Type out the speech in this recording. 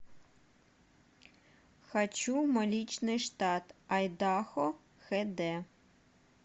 хочу мой личный штат айдахо хд